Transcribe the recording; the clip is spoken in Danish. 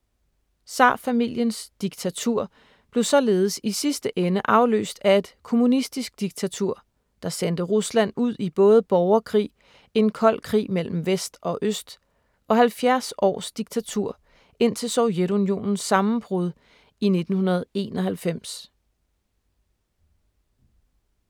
Zarfamiliens diktatur blev således i sidste ende afløst af et kommunistisk diktatur, der sendte Rusland ud i både borgerkrig, en kold krig mellem vest og øst og 70 års diktatur indtil Sovjetunionens sammenbrud i 1991.